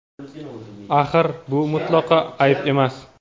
Axir bu mutlaqo ayb emas!.